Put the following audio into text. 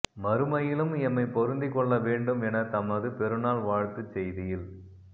மறுமையிலும் எம்மை பொருந்திக் கொள்ள வேண்டும் என தமது பெருநாள் வாழ்த்துச் செய்தியில்